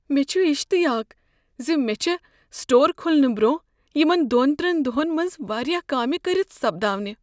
مےٚ چھ اشتعیاق ز مےٚ چھےٚ سٹور کھلنہٕ برٛۄنٛہہ یمن دۄن ترین دۄہن منٛز واریاہ کامہِ کٔرتھ سپداونہ۔